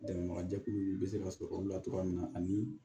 Dɛmɛbaga jɛkuluw bɛ se ka sɔrɔ olu la togoya min na ani